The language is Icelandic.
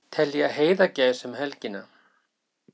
Telja heiðagæs um helgina